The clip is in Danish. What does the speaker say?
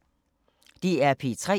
DR P3